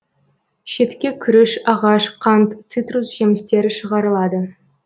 шетке күріш ағаш қант цитрус жемістері шығарылады